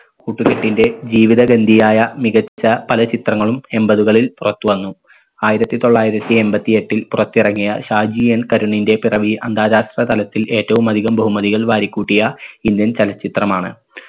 കൂട്ടുകെട്ടിന്റെ ജീവിതഗന്ധിയായ മികച്ച പല ചിത്രങ്ങളും എമ്പതുകളിൽ പുറത്തു വന്നു ആയിരത്തി തൊള്ളായിരത്തി എൺപത്തി എട്ടിൽ പുറത്തിറങ്ങിയ ഷാജി N കരുണിന്റെ പിറവി അന്താരാഷ്ട്ര തലത്തിൽ ഏറ്റവും അധികം ബഹുമതികൾ വാരിക്കൂട്ടിയ indian ചലച്ചിത്രമാണ്.